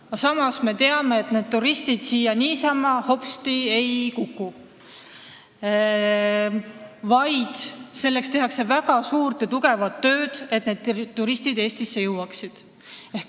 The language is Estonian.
Aga samas me teame, et need turistid siia niisama hopsti ei kuku, vaid tehakse väga suurt ja tugevat tööd, et nad Eestisse jõuaksid.